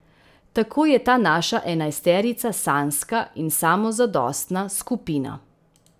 Tako je ta naša enajsterica sanjska in samozadostna skupina.